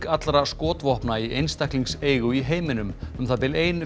allra skotvopna í einstaklingseigu í heiminum um það bil ein